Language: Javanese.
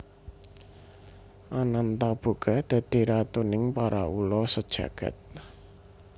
Anantaboga dadi ratuning para ula sajagad